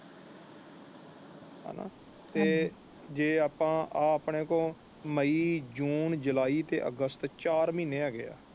ਤੇ ਜੇ ਆਪਾ ਇਹ ਆਪਣੇ ਕੋਲ ਮਈ ਜੂਨ ਜੁਲਾਈ ਤੇ ਅਗਸਤ ਚਾਰ ਮਹੀਨੇ ਹੈਗਾ ਹੈ ਹੇਨਾ।